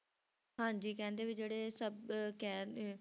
ਹਾਂਜੀ ਕਹਿੰਦੇ ਵੀ ਜਿਹੜੇ ਸਭ ਕਹਿ ਲਏ